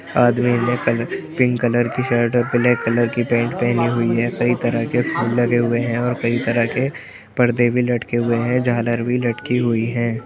आदमी ने कल पिंक कलर की शर्ट और ब्लैक कलर की पैंट पहनी हुई है। कई तरह के फूल लगे हुए हैं और कई तरह के परदे भी लटके हुए हैं। झालर भी लटकी हुई है।